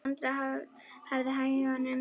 Sandra hafði hægt um sig.